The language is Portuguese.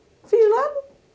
Não fiz nada.